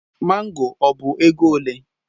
Mango ọ bụ ego ole?